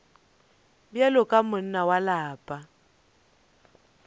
bjalo ka monna wa lapa